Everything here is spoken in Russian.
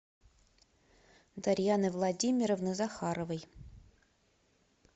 дарьяны владимировны захаровой